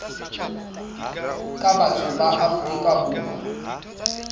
ka batho ba afrika borwa